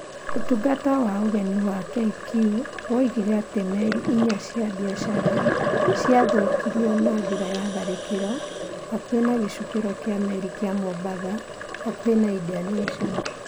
Ũtungata wa Ũgeni wa KQ woigire atĩ meri inya cia biacara nĩ ciathũkirio na njĩra ya tharĩkĩro hakuhĩ na gĩcukĩro kĩa meri kĩa mombatha, hakuhĩ na indian ocean.